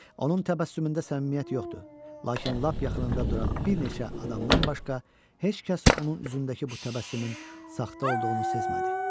Onun təbəssümündə səmimiyyət yoxdu, lakin lap yaxınında duran bir neçə adamdan başqa heç kəs onun üzündəki bu təbəssümün saxta olduğunu sezmədi.